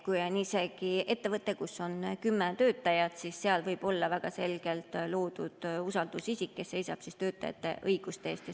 Kui ettevõttes on isegi kümme töötajat, siis seal võib olla väga selgelt usaldusisik, kes seisab töötajate õiguste eest.